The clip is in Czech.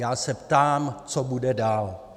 Já se ptám, co bude dál?